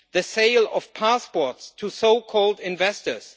the sale of passports to so called investors